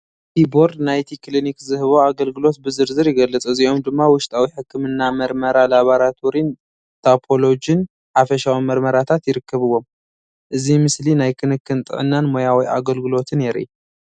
እቲ ቦርድ ናይቲ ክሊኒክ ዝህቦ ኣገልግሎት ብዝርዝር ይገልፅ። እዚኦም ድማ ውሽጣዊ ሕክምና መርመራ ላቦራቶሪን ፓቶሎጂን ሓፈሻዊ መርመራታት ይርከብዎም። እዚ ምስሊ ናይ ክንክን ጥዕናን ሞያዊ ኣገልግሎትን የርኢ።